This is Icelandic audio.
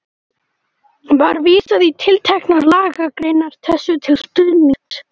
Var vísað í tilteknar lagagreinar þessu til stuðnings.